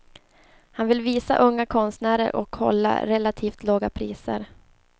Han vill visa unga konstnärer och hålla relativt låga priser.